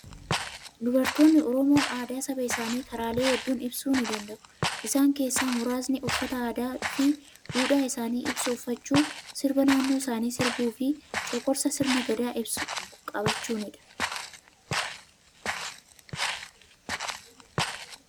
Dubartoonni Oromoo aadaa saba isaanii karaalee hedduun ibsuu ni danda'u. Isaan keessaa muraasni uffata aadaa fi duudhaa isaanii ibsu uffachuu, sirba naannoo isaanii sirbuu fi coqorsa sirna gadaa ibsu qabachuunidha.